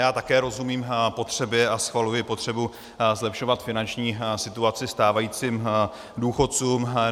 Já také rozumím potřebě a schvaluji potřebu zlepšovat finanční situaci stávajícím důchodcům.